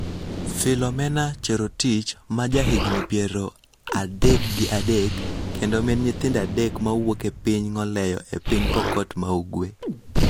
Philomena Cherotich, ma jahigni piero adek gi adek, kendo min nyithindo adek mawuok e piny Ngoleyo e piny Pokot ma Ugwe,